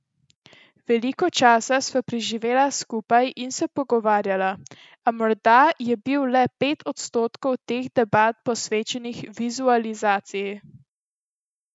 Veliko časa sva preživela skupaj in se pogovarjala, a morda je bilo le pet odstotkov teh debat posvečenih vizualizaciji.